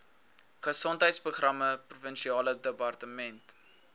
gesondheidsprogramme provinsiale departement